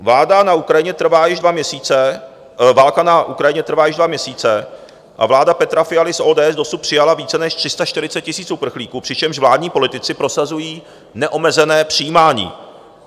Válka na Ukrajině trvá již dva měsíce a vláda Petra Fialy z ODS dosud přijala více než 340 000 uprchlíků, přičemž vládní politici prosazují neomezené přijímání.